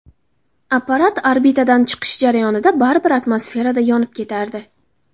Apparat orbitadan chiqishi jarayonida baribir atmosferada yonib ketardi.